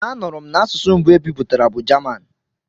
A nụrụ m n'asụsụ mbụ e bipụtara bụ Jaman.